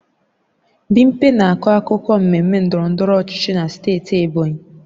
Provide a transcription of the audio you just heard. Bimpe na-akọ akụkọ mmemme ndọrọ ndọrọ ọchịchị na steeti Ebonyi